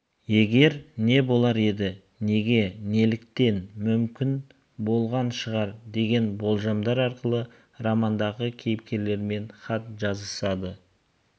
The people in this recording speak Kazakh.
егер не болар еді неге неліктен мүмкін болған шығар деген болжамдар арқылы романдағы кейіпкерлермен хат жазысады